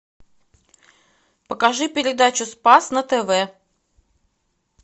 покажи передачу спас на тв